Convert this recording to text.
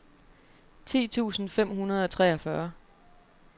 ti tusind fem hundrede og treogfyrre